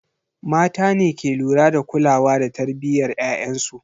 Mata ne ke lura da kulawa da tarbiyyar ‘ya’yansu.